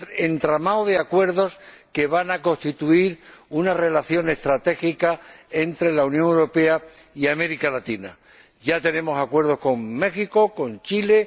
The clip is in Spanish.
entramado de acuerdos que van a constituir una relación estratégica entre la Unión Europea y América Latina. Ya tenemos acuerdos con México y con Chile.